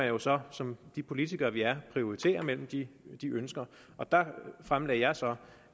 jo så som de politikere vi er prioritere mellem de de ønsker og der fremlagde jeg så